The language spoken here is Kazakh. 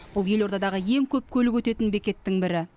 бұл елордадағы ең көп көлік өтетін бекеттің бірі